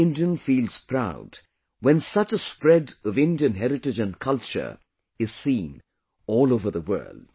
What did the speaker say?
Every Indian feels proud when such a spread of Indian heritage and culture is seen all over the world